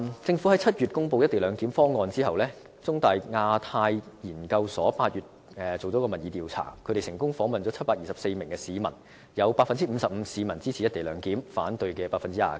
政府在7月公布"一地兩檢"後，中大香港亞太研究所在8月進行了民意調查，成功訪問了724名市民，有 55% 市民支持"一地兩檢"，反對的有 29%。